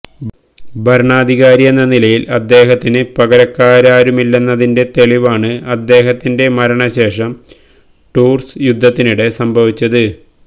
ഭരണാധികാരിയെന്ന നിലയിൽ അദ്ദേഹത്തിന് പകരക്കാരാരുമില്ലെന്നതിൻറെ തെളിവാണ് അദ്ദേഹത്തിൻറെ മരണശേഷം ടൂർസ് യുദ്ധത്തിനിടെ സംഭവിച്ചത്